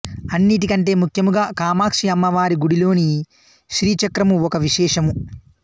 అన్నిటికంటే ముఖ్యముగా కామాక్షి అమ్మవారి గుడిలోని శ్రీచక్రము ఒక విశేషము